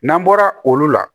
N'an bɔra olu la